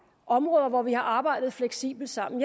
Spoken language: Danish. områder hvor vi har arbejdet fleksibelt sammen